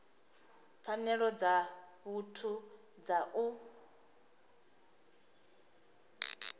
pfanelo dza muthu dza u